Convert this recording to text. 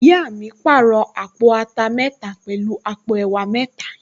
Ìyá mi pàrọ̀ àpò ata mẹ́ta pẹ̀lú àpò ẹ̀wà mẹ́ta